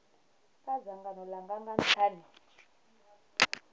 kha dzangano langa nga nthani